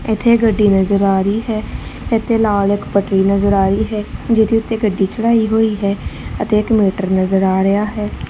ਇੱਥੇ ਗੱਡੀ ਨਜ਼ਰ ਆ ਰਹੀ ਹੈ ਇੱਥੇ ਲਾਲ ਇੱਕ ਪੱਟਰੀ ਨਜ਼ਰ ਆ ਰਹੀ ਹੈ ਜਿਹਦੇ ਉੱਤੇ ਗੱਡੀ ਚੜ੍ਹਾਈ ਹੋਈ ਹੈ ਅਤੇ ਇੱਕ ਮੀਟਰ ਨਜ਼ਰ ਆ ਰਿਹਾ ਹੈ।